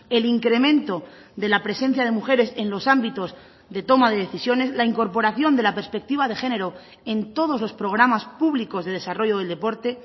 el incremento de la presencia de mujeres en los ámbitos de toma de decisiones la incorporación de la perspectiva de género en todos los programas públicos de desarrollo del deporte